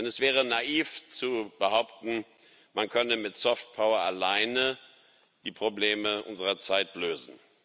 Denn es wäre naiv zu behaupten, man könne mit soft power alleine die Probleme unserer Zeit lösen.